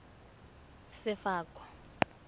sefako